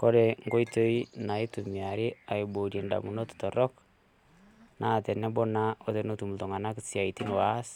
Kore nkoitoi naitumiarri aiboorie in'damunot torrok naa tenebo naa otenetum ltunganak siaaitin oas